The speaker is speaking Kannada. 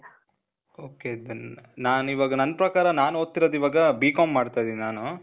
ok , then, ನಾನಿವಾಗ ನನ್ ಪ್ರಕಾರ ನಾನ್ ಓದ್ತಿರೋದು ಇವಾಗಾ, BCom ಮಾಡ್ತಾ ಇದೀನಿ ನಾನು